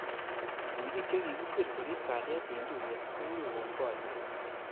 Ripik che kikisir korip kalyet eng tuiyet kokikon boriet